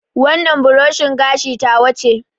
Wannan buroshin gashi ta wa ce